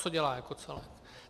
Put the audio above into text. Co dělá jako celek?